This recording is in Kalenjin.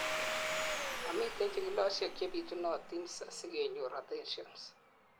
momiten chikilosiek chebitunotin asi kenyor adhesions